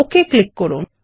okay click করুন